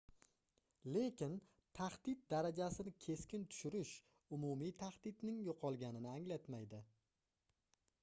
lekin tahdid darajasini keskin tushirish umumiy tahdidning yoʻqolganini anglatmaydi